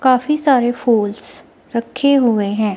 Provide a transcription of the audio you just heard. काफी सारे फूल्स रखे हुए हैं।